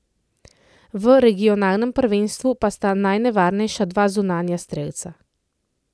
V regionalnem prvenstvu pa sta najnevarnejša dva zunanja strelca.